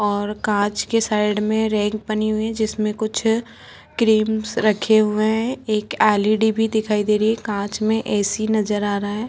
और कांच के साइड में रैक बने हुए है जिसमे कुछ क्रीम्स रखे हुए है एक एल.ई. डी. भी दिखाई दे रही है कांच में ऐ.सी नजर आ रहा है।